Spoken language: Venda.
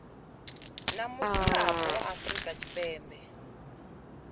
na mudzulapo wa afrika tshipembe